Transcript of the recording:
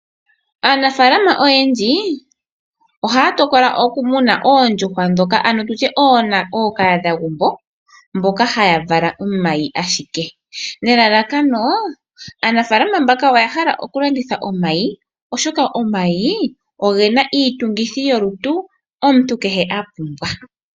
Aanafaalama oyendji ohaya tokola okumuna oondjuhwa ndhoka, ano ookahadhagumbo mboka haya vala ashike omayi nelalakano lyokulanditha omayi, oshoka omayi oge na iitungithilutu mbyoka omuntu kehe a pumbwa.